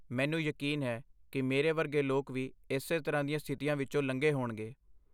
ਮੈਨੂੰ ਯਕੀਨ ਹੈ ਕਿ ਮੇਰੇ ਵਰਗੇ ਲੋਕ ਵੀ ਇਸੇ ਤਰ੍ਹਾਂ ਦੀਆਂ ਸਥਿਤੀਆਂ ਵਿੱਚੋਂ ਲੰਘੇ ਹੋਣਗੇ।